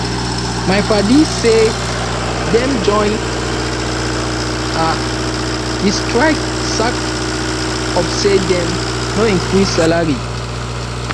my padi say dem join um di strike sake of sey dem no increase salary